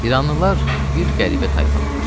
İranlılar bir qəribə tayfadırlar.